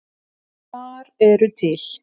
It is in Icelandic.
Þar eru til